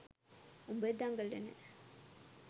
උඹ දඟලන